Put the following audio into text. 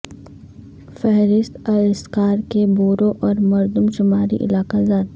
فہرست الاسکا کے بورو اور مردم شماری علاقہ جات